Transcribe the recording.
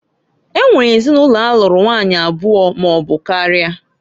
E nwere ezinụlọ alụrụ nwanyị abụọ maọbụ karịa.